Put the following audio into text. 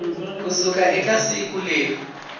ku suka eka siku leri